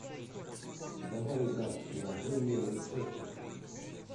давай играть в приложение рецептус